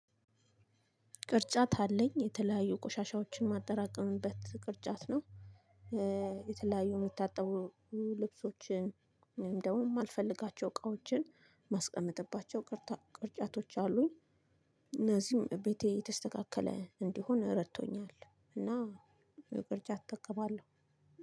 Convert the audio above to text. ቅርጫት አለኝ የተለያዩ ቆሻሻዎችን ማጠራቅምበት ቅርጫት ነው። የተለያዩ የሚታጠቡ ልብሶችን እንደውም አልፈልጋቸው እቃዎችን ማስቀመጥባቸው ቅርጫቶች አሉኝ። እነዚህም ቤቴ የተስተካከለ እንዲሆን ረድቶኛል። እና ቅርጫት እጠቀማለሁ።